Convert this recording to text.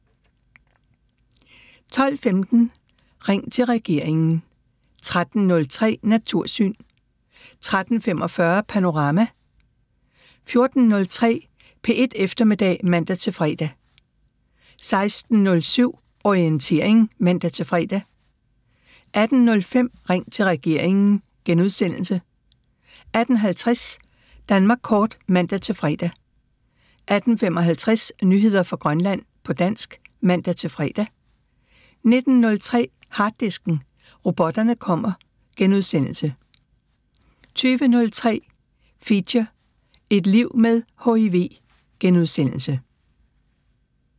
12:15: Ring til regeringen 13:03: Natursyn 13:45: Panorama 14:03: P1 Eftermiddag (man-fre) 16:07: Orientering (man-fre) 18:05: Ring til regeringen * 18:50: Danmark kort (man-fre) 18:55: Nyheder fra Grønland på dansk (man-fre) 19:03: Harddisken: Robotterne kommer * 20:03: Feature: Et liv med HIV *